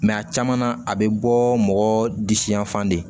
a caman na a bɛ bɔ mɔgɔ disi yan fan de